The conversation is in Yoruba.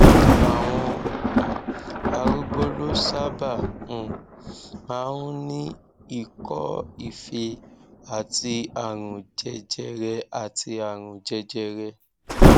àwọn um arúgbó ló sábà um máa ń ní ikọife àti àrùn jẹjẹrẹ àti àrùn jẹjẹrẹ